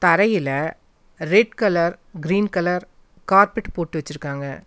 தரையில red colour green colour carpet போட்டு வச்சிருக்காங்க.